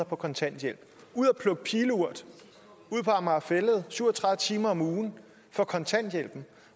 på kontanthjælp ud at plukke pileurt ud på amager fælled i syv og tredive timer om ugen for kontanthjælpen